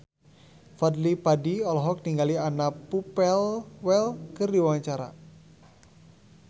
Fadly Padi olohok ningali Anna Popplewell keur diwawancara